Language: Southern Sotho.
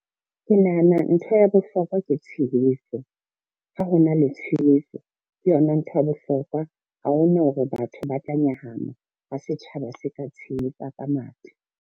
Ke nahana ntho ya bohlokwa ke tshehetso, ha ho na le tshehetso ke yona ntho ya bohlokwa. Ha hona hore batho ba tla nyahama ha setjhaba se ka tshehetsa ka matla.